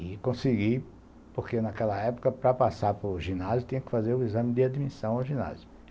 E consegui porque, naquela época, para passar para o ginásio, tinha que fazer o exame de admissão no ginásio.